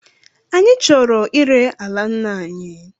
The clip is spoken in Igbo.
Anyị chọrọ ire ala nna anyi